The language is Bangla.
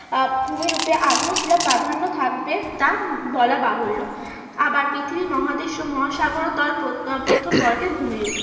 আহ ভূমি রূপে আগ্নেয় শিলার প্রাধান্য থাকবে তা বলা বাহুল্য। আবার পৃথিবীদেশ ও মহাসাগর প্রথম বর্কের ভূমিরূপ